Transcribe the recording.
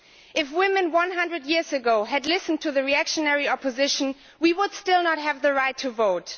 If women 100 years ago had listened to the reactionary opposition, we would still not have the right to vote.